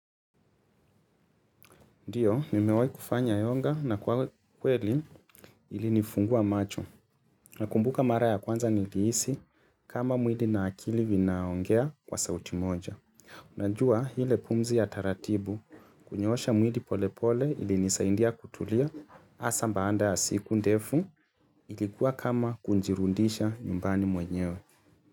Ndiyo, nimewahi kufanya yoga na kwa kweli ilinifungua macho nakumbuka mara ya kwanza nilihisi kama mwili na akili vinaongea kwa sauti moja. Najua ile pumzi ya taratibu kunyoosha mwili polepole ilinisaidia kutulia. Hasa baada ya siku ndefu ilikuwa kama kujirudisha nyumbani mwenyewe.